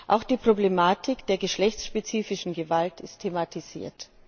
Auch die Problematik der geschlechtsspezifischen Gewalt ist thematisiert.